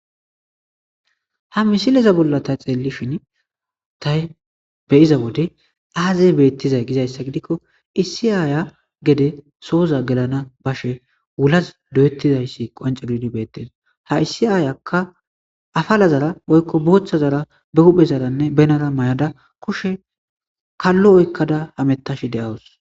Ha misileza bolla tay xeellishin tay beyiza wode aazey beettizay gizayssa gidikko issi aaya gede sooza gelana bashe wulas doyettizayssi qonce gididi beettesa ha issi aayakka afalazara woykko booththa zara be huphe zaranne benara mayada kushe kallo oykkada hamettash de7awus.